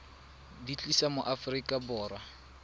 di tlisa mo aforika borwa